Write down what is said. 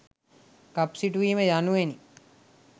කප් සිටුවීම යනුවෙනි.